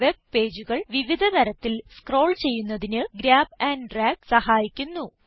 വെബ്പേജുകൾ വിവിധ തരത്തിൽ സ്ക്രോൾ ചെയ്യുന്നതിന് ഗ്രാബ് ആൻഡ് ഡ്രാഗ് സഹായിക്കുന്നു